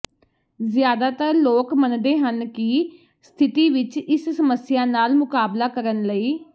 ਜ਼ਿਆਦਾਤਰ ਲੋਕ ਮੰਨਦੇ ਹਨ ਕਿ ਸਥਿਤੀ ਵਿਚ ਇਸ ਸਮੱਸਿਆ ਨਾਲ ਮੁਕਾਬਲਾ ਕਰਨ ਲਈ